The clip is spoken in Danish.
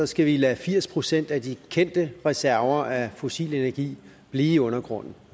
skal vi lade firs procent af de kendte reserver af fossil energi blive i undergrunden